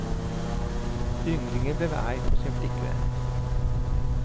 Ynglingen blev arg på sin flickvän.